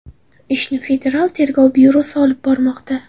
Ishni Federal tergov byurosi olib bormoqda.